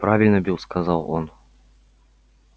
правильно билл сказал он